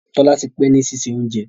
Tola tí pé ní sisé oúnjẹ.